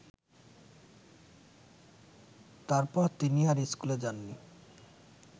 তারপর তিনি আর স্কুলে যাননি